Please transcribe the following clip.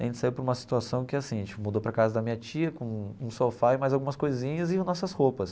A gente saiu para uma situação que é assim, a gente mudou para casa da minha tia, com um sofá e mais algumas coisinhas e nossas roupas.